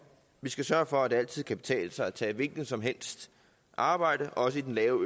vi skal sørge for at det altid kan betale sig at tage et hvilket som helst arbejde også i den lave